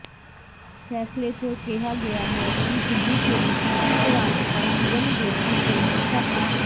ਫੈਸਲੇ ਚ ਕਿਹਾ ਗਿਆ ਹੈ ਕਿ ਪੁਡੁਚੇਰੀ ਦੀ ਉਪ ਰਾਜਪਾਲ ਕਿਰਨ ਬੇਦੀ ਕੇਂਦਰ ਸ਼ਾਸਤ